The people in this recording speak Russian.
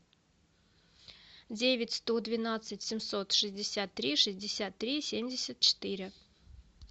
девять сто двенадцать семьсот шестьдесят три шестьдесят три семьдесят четыре